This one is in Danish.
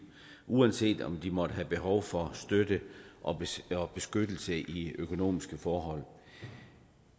uanset om de måtte have behov for støtte og beskyttelse i økonomiske forhold